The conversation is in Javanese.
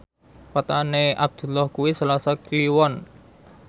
wetone Abdullah kuwi Selasa Kliwon